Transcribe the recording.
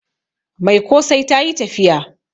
Mai kosai ta yi tafiya